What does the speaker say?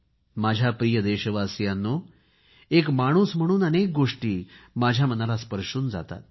माझ्या प्रिय देशवासियांनो एक माणूस म्हणून अनेक गोष्टी माझ्या मनाला स्पर्शून जातात